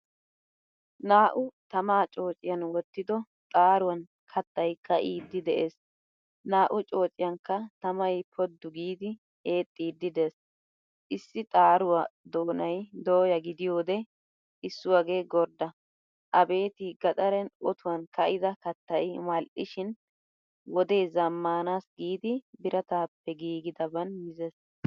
Naa'u tamaa coociyan wottido xaaruwan kattay kaidi de'ees. Naa'u coociyankka tamaay poddu giidi eexxidi de'ees. Issi xaaruwaa doonay doya gidiyode issuwage gordda. Abbetti gaxaren oottuwan kaida kattay mal'ishin wodee zamaanassi giidi birattappe gigidaban mizees.